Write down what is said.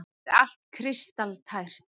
Gerir allt kristaltært.